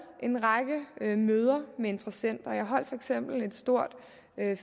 en række møder med interessenter jeg holdt for eksempel et stort